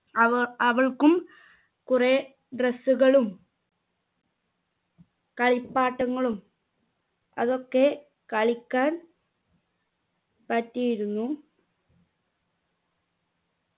അവ അവൾക്കും കുറെ dress കളും കളിപ്പാട്ടങ്ങളും അതൊക്കെ കളിക്കാൻ പറ്റിയിരുന്നു